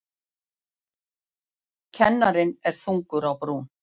Kennarinn er þungur á brún.